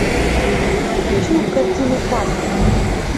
хочу картину пастырь